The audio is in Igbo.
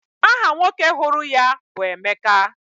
Aha nwoke hụrụ ya bụ Emeka.